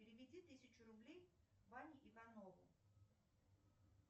переведи тысячу рублей ване иванову